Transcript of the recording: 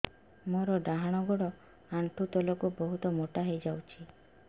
ମୋର ଡାହାଣ ଗୋଡ଼ ଆଣ୍ଠୁ ତଳକୁ ବହୁତ ମୋଟା ହେଇଯାଉଛି